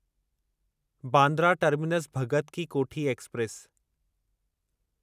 Bandra terminus Bhagat ki Kothi express